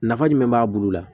Nafa jumɛn b'a bulu la